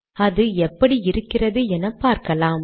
அது எப்படி இருக்கிறது என பார்க்கலாம்